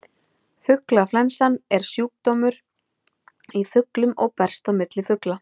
Fuglaflensa er sjúkdómur í fuglum og berst á milli fugla.